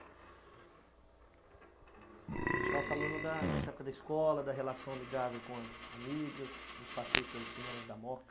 A gente estava falando da dessa época da escola, da relação amigável com as amigas, dos passeios pelos cinemas da Moca.